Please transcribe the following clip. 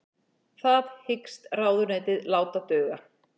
Það hyggst ráðuneytið láta duga